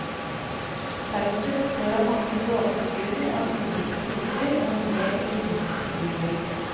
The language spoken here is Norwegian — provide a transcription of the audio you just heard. Feltet består av mange båtfigurer av ulike typer og en del ringfigurer.